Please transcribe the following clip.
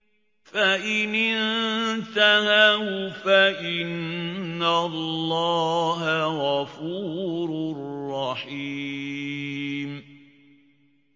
فَإِنِ انتَهَوْا فَإِنَّ اللَّهَ غَفُورٌ رَّحِيمٌ